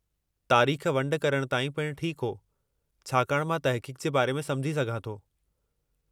तारीखु वंड करणु ताईं पिणु ठीकु हो, छाकाणि मां तहक़ीक़ जे बारे में समुझी सघां थो।